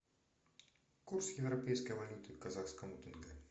курс европейской валюты к казахскому тенге